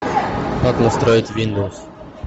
как настроить виндоус